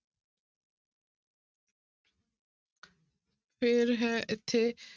ਫਿਰ ਹੈ ਇੱਥੇ,